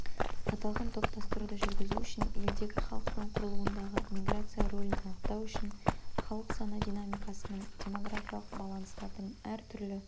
аталған топтастыруды жүргізу үшін елдегі халықтың құрылуындағы миграция ролін анықтау үшін халық саны динамикасының демографиялық баланстардың әр түрлі